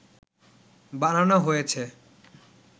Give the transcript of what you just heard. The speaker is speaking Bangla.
বানানো হয়েছে